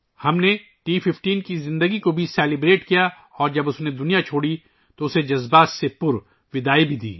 ہم نے ٹی 15 کی اس زندگی کا جشن بھی منایا اور جب وہ دنیا سے رخصت ہوئی تو ہم نے اسے جذباتی طور پر رخصت بھی کیا